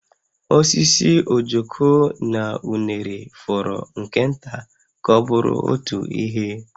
Osisi ojoko na unere fọrọ nke nta ka ọ bụrụ otu ihe